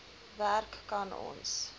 werk kan ons